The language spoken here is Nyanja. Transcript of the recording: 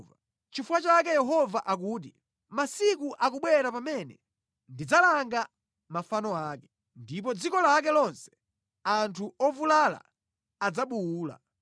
Nʼchifukwa chake Yehova akuti, “Masiku akubwera pamene ndidzalanga mafano ake, ndipo mʼdziko lake lonse anthu ovulala adzabuwula.